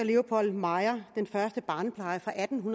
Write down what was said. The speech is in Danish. leopold meyers den første barnepleje fra atten